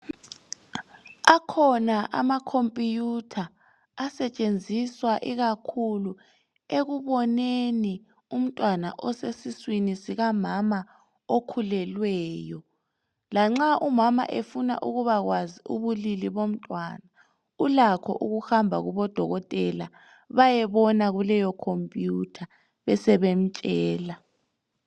Akhona ama computer asetshenziswa ikakhulu ekuboneni umntwana osesiswini sika mama okhulelweyo. Lanxa umama efuna ukubakwazi ubulili bomntwana ulakho ukuhamba kubodokotela bayebona kuleyo computer besebemtshela.